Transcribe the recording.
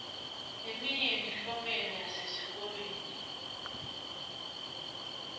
leminye yemiklomelo yesesikolweni